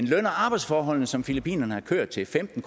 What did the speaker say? løn og arbejdsforholdene som filippinerne har kørt til femten